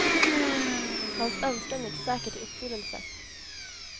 Hans önskan gick säkert i uppfyllelse.